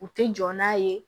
U tɛ jɔ n'a ye